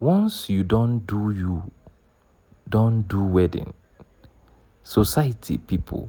once you don do you don do wedding society pipu